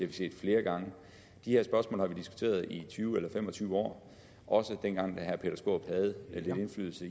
vi set flere gange de her spørgsmål har vi diskuteret i tyve eller fem og tyve år også dengang da herre peter skaarup havde lidt indflydelse